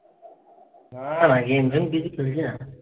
না না। গেম টেম কিছু খেলি না।